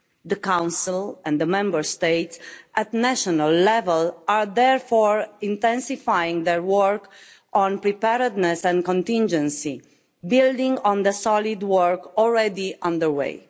The Council and the Member States at national level are therefore intensifying their work on preparedness and contingency, building on the solid work already underway.